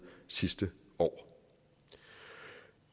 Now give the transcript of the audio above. sidste år